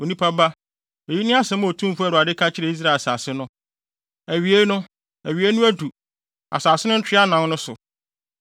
“Onipa ba, eyi ne asɛm a Otumfo Awurade ka kyerɛ Israel asase no: “ ‘Awiei no! Awiei no adu asase no ntwea anan no so.